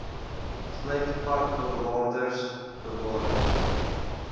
sluit parkbewaarders bewarings